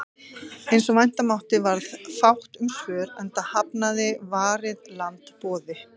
Eins og vænta mátti varð fátt um svör, enda hafnaði Varið land boði